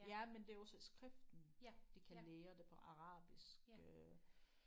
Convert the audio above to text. Ja men det er også skriften de kan lære det på arabisk øh